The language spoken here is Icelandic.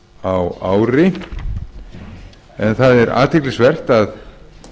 á ári en það er athyglisvert að